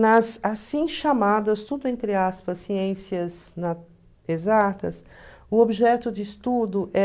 Nas assim chamadas, tudo entre aspas, ciências exatas, o objeto de estudo é...